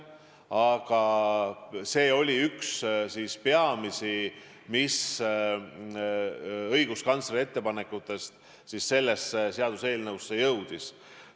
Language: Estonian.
Aga see oli üks peamisi, mis õiguskantsleri ettepanekutest sellesse seaduseelnõusse jõudis.